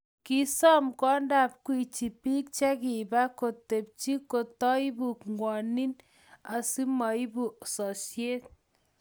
kisoom kwondab Gwiji biik chekiba tubenyin komtoibu ng'wonin asimoibu sosye